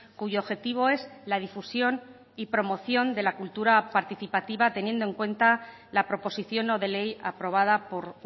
cuyo objetivo es la difusión y promoción de la cultura participativa teniendo en cuenta la proposición no de ley aprobada por